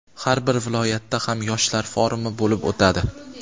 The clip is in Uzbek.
har bir viloyatda ham yoshlar forumi bo‘lib o‘tadi.